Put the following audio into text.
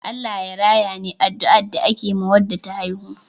"Allah Ya raya" ne addua da ake ma Wanda ta haihu